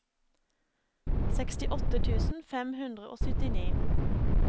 sekstiåtte tusen fem hundre og syttini